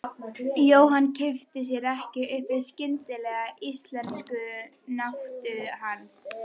Jóhann kippti sér ekki upp við skyndilega íslenskukunnáttu hans.